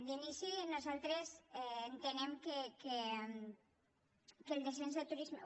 d’inici nosaltres entenem que el descens de turisme